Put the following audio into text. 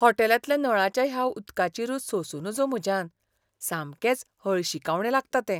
होटॅलांतल्या नळाच्या ह्या उदकाची रूच सोंसूं नजो म्हज्यान, सामकेंच हळशिकावणें लागता तें.